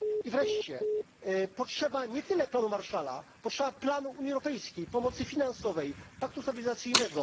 Wreszcie, potrzeba nie tyle planu Marshalla, potrzeba planu Unii Europejskiej pomocy finansowej, paktu stabilizacyjnego.